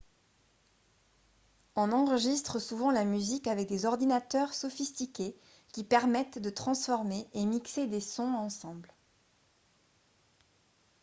on enregistre souvent la musique avec des ordinateurs sophistiqués qui permettent de transformer et mixer des sons ensemble